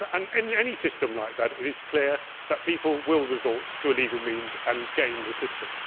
In any system like that it is clear that people will resort to illegal means and game the system.